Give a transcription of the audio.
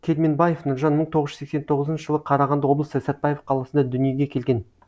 керменбаев нұржан мың тоғыз жүз сексен тоғызыншы жылы қарағанды облысы сәтпаев қаласында дүниеге келген